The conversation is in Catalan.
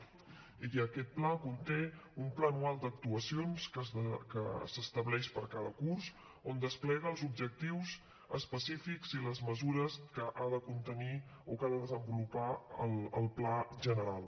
i aquest pla conté un pla anual d’actuacions que s’estableix per a cada curs on es despleguen els objectius específics i les mesures que ha de contenir o que ha de desenvolupar el pla general